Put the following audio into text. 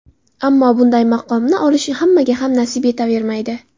Ammo bunday maqomni olish hammaga ham nasib etavermaydi.